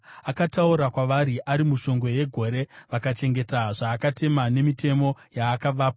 Akataura kwavari ari mushongwe yegore; vakachengeta zvaakatema nemitemo yaakavapa.